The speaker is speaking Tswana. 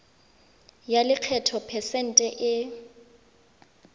ya lekgetho phesente e